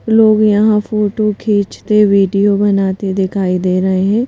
लोग यहां फोटो खींचते वीडियो बनाते दिखाई दे रहे हैं।